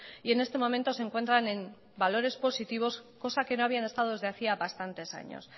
y en este momento se encuentran en valores positivos cosa que no habían estado desde hacía bastantes años